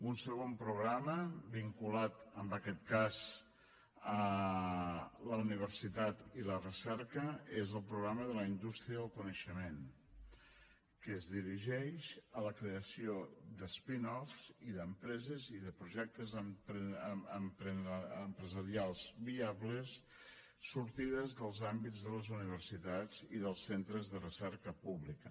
un segon programa vinculat en aquest cas a la universitat i la recerca és el programa de la indústria del coneixement que es dirigeix a la creació de spin offs i d’empreses i de projectes empresarials viables sortides dels àmbits de les universitats i dels centres de recerca pública